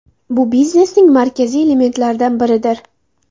Bu biznesning markaziy elementlaridan biridir.